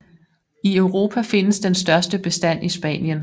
I Europa findes den største bestand i Spanien